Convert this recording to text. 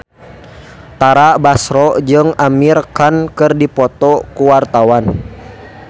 Tara Basro jeung Amir Khan keur dipoto ku wartawan